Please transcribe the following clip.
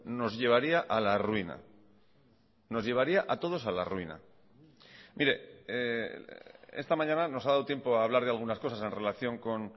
nos llevaría a la ruina nos llevaría a todos a la ruina mire esta mañana nos ha dado tiempo a hablar de algunas cosas en relación con